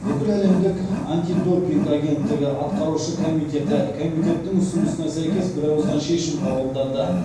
бүкіләлемдік антидопинг агенттігі атқарушы комитеті комитеттің ұсынысына сәйкес бірауыздан шешім қабылдады